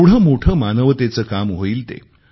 केवढे मोठे मानवतेचे काम होईल ते